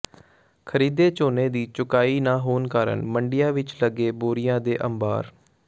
ਖ਼ਰੀਦੇ ਝੋਨੇ ਦੀ ਚੁਕਾਈ ਨਾ ਹੋਣ ਕਾਰਨ ਮੰਡੀਆਂ ਵਿੱਚ ਲੱਗੇ ਬੋਰੀਆਂ ਦੇ ਅੰਬਾਰ